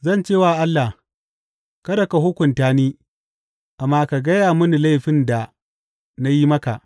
Zan ce wa Allah, kada ka hukunta ni, amma ka gaya mini laifin da na yi maka.